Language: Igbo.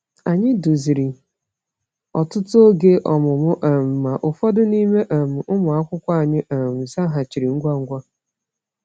Anyị duziri ọtụtụ oge ọmụmụ, um ma ụfọdụ n’ime um ụmụ akwụkwọ anyị um zaghachiri ngwa ngwa.